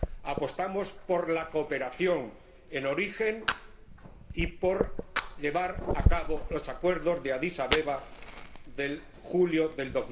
Apostamos por la cooperación en origen y por llevar a cabo los acuerdos de Adís Abeba de julio de